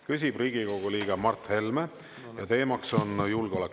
Küsib Riigikogu liige Mart Helme ja teemaks on julgeolek.